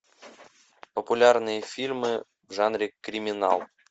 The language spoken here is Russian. популярные фильмы в жанре криминал